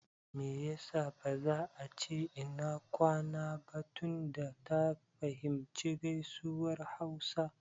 Me ya sa ba za a ce "Ina kwana" ba tunda ta fahimci gaisuwar hausa?